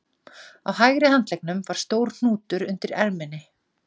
Á hægri handleggnum var stór hnútur undir erminni